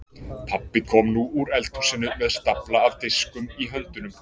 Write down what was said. Pabbi kom nú úr eldhúsinu með stafla af diskum í höndunum.